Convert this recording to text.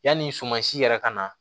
Yanni suman si yɛrɛ kana